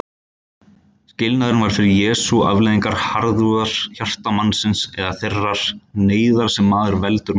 Skilnaðurinn var fyrir Jesú afleiðing harðúðar hjarta mannsins eða þeirrar neyðar sem maður veldur manni.